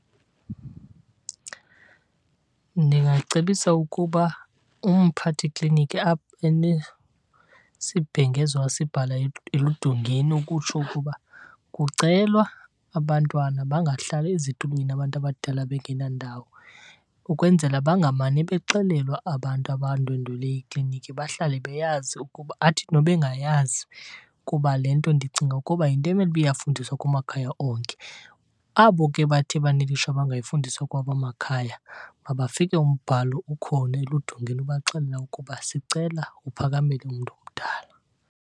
Ndingacebisa ukuba umphathi kliniki abe nesibhengezo asibhala eludongeni ukutsho ukuba kucelwa abantwana bangahlali ezitulweni abantu abadala bengena ndawo. Ukwenzela bangamane bexelelwa abantu abandwendwele ikliniki bahlale beyazi ukuba, athi nobengayazi kuba le nto ndicinga ukuba yinto emele uba iyafundiswa kumakhaya onke. Abo ke bathe banelishwa bangayifundiswa kwawabo amakhaya, mabafike umbhalo ukhona eludongeni ubaxelela ukuba sicela uphakamele umntu omdala.